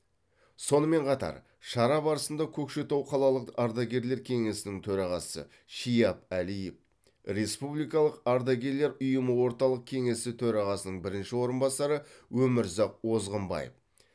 сонымен қатар шара барысында көкшетау қалалық ардагерлер кеңесінің төрағасы шияп әлиев республикалық ардагерлер ұйымы орталық кеңесі төрағасының бірінші орынбасары өмірзақ озғанбаев